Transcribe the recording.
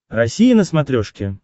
россия на смотрешке